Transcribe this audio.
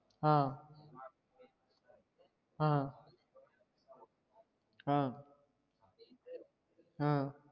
ஆஹ் ஆஹ் ஆஹ் ஆஹ்